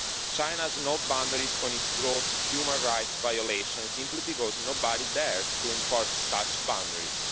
China has no boundaries on its gross human rights violations, simply because nobody dares to enforce such boundaries.